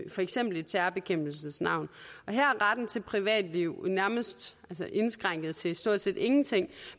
for eksempel i terrorbekæmpelsens navn her er retten til privatliv nærmest indskrænket til stort set ingenting